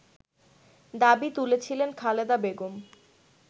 দাবি তুলেছিলেন খালেদা বেগম